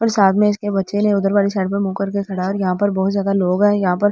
और साथ में इसके बच्चे ने उधर वाली साइड पर मुंह करके खड़ा है और यहां पर बहुत ज्यादा लोग है यहां पर जिनमें।